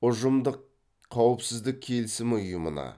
ұжымдық қауіпсіздік келісімі ұйымына